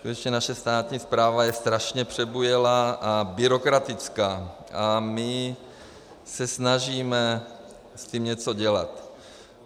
Skutečně, naše státní správa je strašně přebujelá a byrokratická a my se snažíme s tím něco dělat.